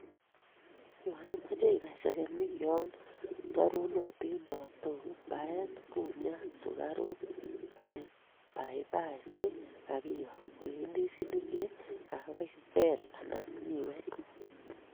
yon imache ibai segemik yon rarunotin taaptook, baeen kumyat, sugaruk, papai che kagiyo, kok, ndisinik che kagebal anan miwek.